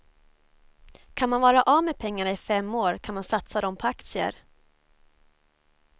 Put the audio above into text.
Kan man vara av med pengarna i fem år kan man satsa dem på aktier.